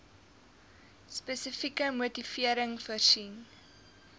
spesifieke motivering voorsien